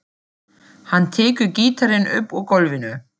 Hann tekur gítarinn upp úr gólfinu.